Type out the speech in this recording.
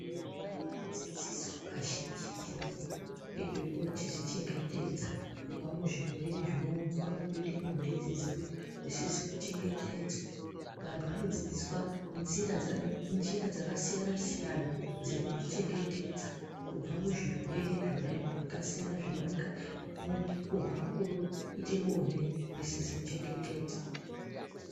Vantu vanodzidziswa kazhinji zhinji ngezvekuzvichengetedza kubva muzvirwere zvinobva mukuita bonde risizi kuchengetedzwa. Vantu vanodzidziswa njira dzakasiyana siyana dzekuzvichengetedza kubva muzvirwere zvona zvakasiyana zvinowanika mukuita bonde risizi kuchengetedzwa.